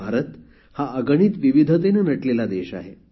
भारत हा अगणित विविधतेने नटलेला देश आहे